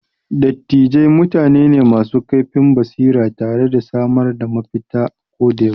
Dattijai mutane ne masu kaifin basira tare da samar da mafita ako da yaushe.